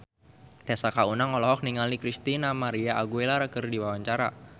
Tessa Kaunang olohok ningali Christina María Aguilera keur diwawancara